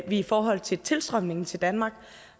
i forhold til tilstrømningen til danmark